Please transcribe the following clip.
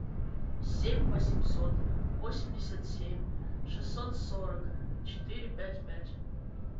семь восемьсот восемьдесят семь шестьсот сорок четыре пять пять